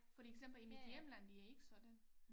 For eksempel i mit hjemland det ikke sådan